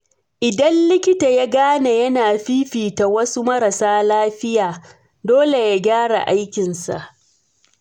Idan likita ya gane yana fifita wasu marasa lafiya, dole ya gyara aikinsa.